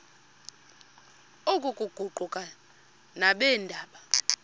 oku kuquka nabeendaba